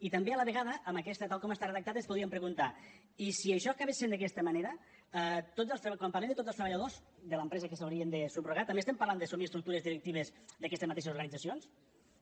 i també a la vegada amb aquesta tal com està redactat ens podríem preguntar i si això acabés sent d’aquesta manera quan parlem de tots els treballadors de l’empresa que s’haurien de subrogar també estem parlant d’assumir estructures directives d’aquestes mateixes organitzacions